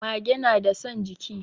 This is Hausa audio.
Mage nada son jiki